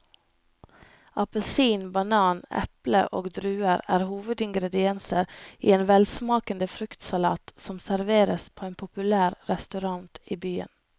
Appelsin, banan, eple og druer er hovedingredienser i en velsmakende fruktsalat som serveres på en populær restaurant i byen.